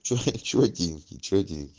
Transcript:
че четенькие четенькие